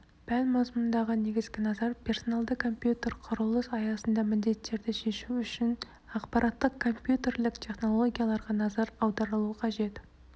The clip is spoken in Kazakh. пән мазмұнында негізгі назар персоналды компьютер құрылыс аясында міндеттерді шешу үшін ақпараттық-компьютерлік технологияларға назар аударылуы қажет